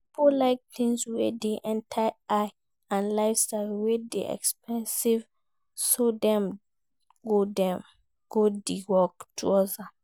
Pipo like things wey de enter eye and lifestyle wey de expensive so dem go de work towards am